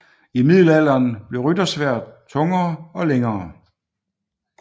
I middelalderen blev ryttersværdet tungere og længere